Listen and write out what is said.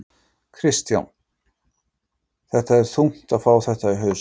Kristján: Þetta er þungt að fá þetta í hausinn?